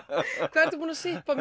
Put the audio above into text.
hvað ertu búinn að sippa